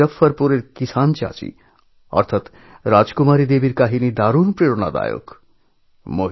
বিহারের মজঃফরপুরের কিষাণচাচী রাজকুমারী দেবীর কাহিনি খুবই প্রেরণাদায়ক